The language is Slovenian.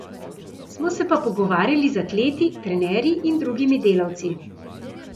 Smo se pa pogovarjali z atleti, trenerji in drugimi delavci.